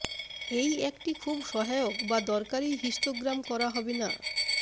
এই একটি খুব সহায়ক বা দরকারী হিস্টোগ্রাম করা হবে না